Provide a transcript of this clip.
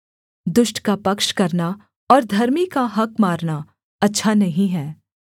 दुष्ट का पक्ष करना और धर्मी का हक़ मारना अच्छा नहीं है